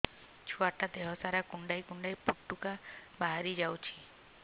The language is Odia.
ଛୁଆ ଟା ଦେହ ସାରା କୁଣ୍ଡାଇ କୁଣ୍ଡାଇ ପୁଟୁକା ବାହାରି ଯାଉଛି